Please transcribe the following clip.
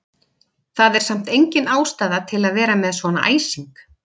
Það er samt engin ástæða til að vera með svona æsing!